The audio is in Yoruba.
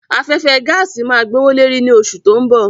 Afẹ́fẹ́ gaàsì máa gbówó leri ni oṣù tó ń bọ̀